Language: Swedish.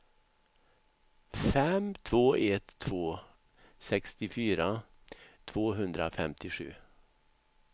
fem två ett två sextiofyra tvåhundrafemtiosju